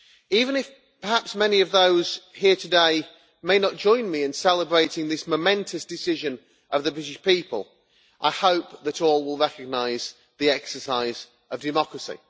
Even if perhaps many of those here today may not join me in celebrating this momentous decision of the British people, I hope that all will recognise the exercise of democracy.